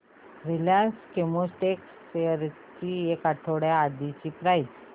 Reliance Chemotex shares ची एक आठवड्या आधीची प्राइस